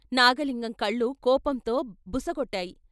' నాగలింగం కళ్ళు కోపంతో బుసకొట్టాయి.